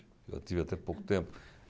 Eu tive até pouco tempo.